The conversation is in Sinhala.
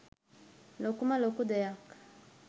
ලොකුම ලොකු දෙයක්.